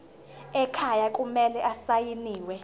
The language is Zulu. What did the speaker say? ekhaya kumele asayiniwe